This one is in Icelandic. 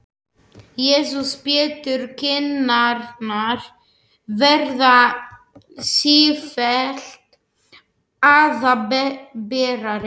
Jesús Pétur, kinnarnar verða sífellt æðaberari!